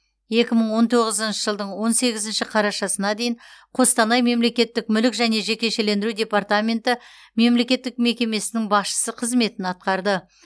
екі мың он тоғызыншы жылдың он сегізінші қарашасына дейін қостанай мемлекеттік мүлік және жекешелендіру департаменті мемлекеттік мекемесінің басшысы қызметін атқарды